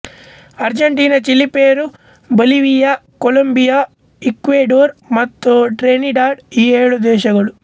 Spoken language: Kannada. Argentina Chile Peru Bolivia Colombia Ecuador ಮತ್ತು ಟ್ರಿನಿಡಾಡ್ ಈ ಏಳು ದೇಶಗಳು